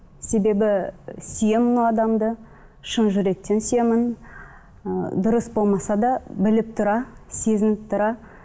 себебі сүйемін ол адамды шын жүректен сүйемін ы дұрыс болмаса да біліп тұра сезініп тұра